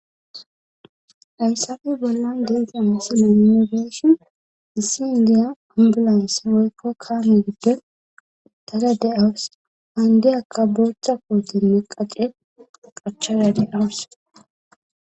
ayssafe bollan deggzam sila inobeshon issi indiya hambilans woykko kaame gidde tada deawus handi akka booththa kootimiqaqe qachada deawus